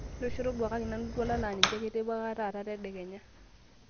ntosho toduakaki nanu iltualan laa ninche kitipikaka taata tedekenya